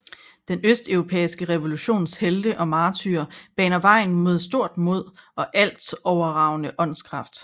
Den østeuropæiske revolutions helte og martyrer baner vejen med stort mod og alt overragende åndskraft